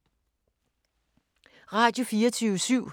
Radio24syv